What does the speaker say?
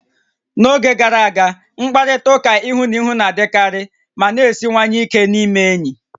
N'oge gara aga, mkparịta ụka ihu na ihu na-adịkarị ma na-esiwanye ike n'ịme enyi